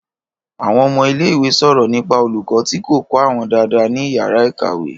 Àwọn ọmọ ilé ìwé sọ̀rọ̀ nípa olùkọ́ tí kò kọ́ àwọn dáadáa ní ìyàrá-ìkàwé.